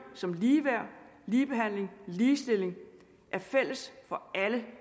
som ligeværd ligebehandling og ligestilling er fælles for alle